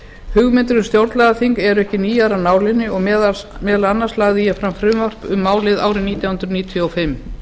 hugmyndir um stjórnlagaþing eru ekki nýjar af nálinni og meðal annars lagði ég fram frumvarp um málið árið nítján hundruð níutíu og fimm